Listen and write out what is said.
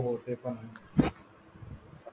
हो हो ते पण आहे